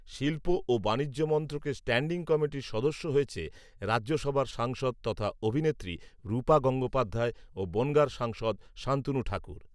শিল্প ও বাণিজ্য মন্ত্রকের স্ট্যান্ডিং কমিটির সদস্য হয়েছে রাজ্যসভার সাংসদ তথা অভিনেত্রী রূপা গাঙ্গোপাধ্যায় ও বঁনগার সাংসদ শান্তুনু ঠাকুর